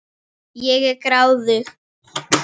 Ég er gráðug.